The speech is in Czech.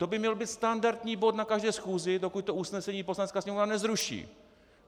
To by měl být standardní bod na každé schůzi, dokud to usnesení Poslanecká sněmovna nezruší.